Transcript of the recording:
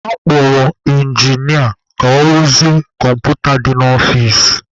A kpọrọ ịnginịa ka ọ rụzie kọmputa dị n'ọfici.